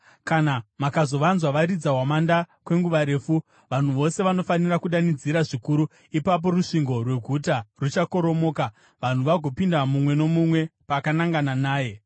Kana mukazovanzwa varidza hwamanda kwenguva refu, vanhu vose vanofanira kudanidzira zvikuru; ipapo rusvingo rweguta ruchakoromoka, vanhu vagopinda, mumwe nomumwe pakanangana naye.”